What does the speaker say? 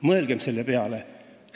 Mõelgem selle peale!